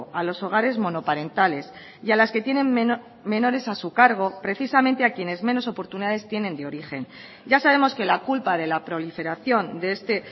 a los hogares monoparentales y a las que tienen menores a su cargo precisamente a quienes menos oportunidades tienen de origen ya sabemos que la culpa de la proliferación de este